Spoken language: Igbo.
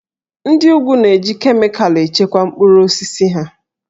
Ndị úgwù na-eji kemịkalụ echekwa mkpụrụ osisi ha